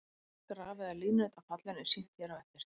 Graf eða línurit af fallinu er sýnt hér á eftir.